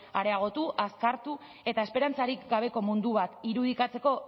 areagotu azkartu eta esperantzarik gabeko mundu bat irudikatzeko